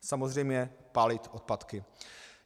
Samozřejmě - pálit odpadky.